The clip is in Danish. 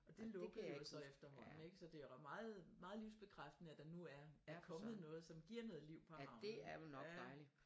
Og det lukkede jo så efterhånden ik så det er meget meget livsbekræftende at der nu er er kommet noget som giver noget liv på havnen